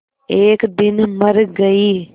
एक दिन मर गई